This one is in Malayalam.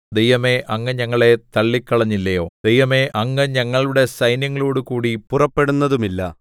ദൈവമേ അങ്ങ് ഞങ്ങളെ തള്ളിക്കളഞ്ഞില്ലയോ ദൈവമേ അങ്ങ് ഞങ്ങളുടെ സൈന്യങ്ങളോടുകൂടി പുറപ്പെടുന്നതുമില്ല